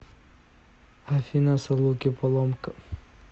афина салуки поломка